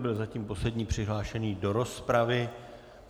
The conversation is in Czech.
Byl zatím poslední přihlášený do rozpravy.